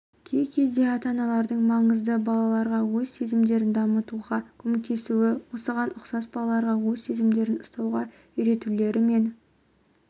кей-кезде ата-аналардың маңызды балаларға өз сезімдерін дамытуға көмектесуі осыған ұқсас балаларға өз сезімдерін ұстауға үйретулері мен